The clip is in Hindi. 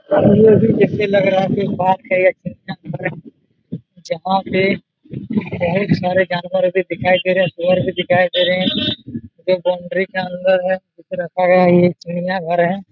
जैसे लग रहा है जहां पे बहुत सारे जानवर भी दिखाई दे रहे है पेड़ भी दिखाई दे रहे है बाउंड्री के अंदर है रखा गया है ये चिड़ियाघर है।